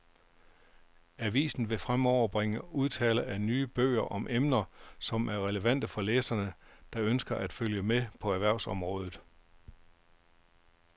Avisen vil fremover bringe omtale af nye bøger om emner, som er relevante for læsere, der ønsker at følge med på erhvervsområdet.